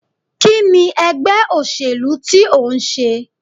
Kini ègbé òṣèlú ti o ń sé?